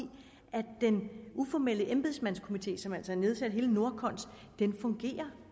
at den uformelle embedsmandskomité som er nedsat altså hele nordkons fungerer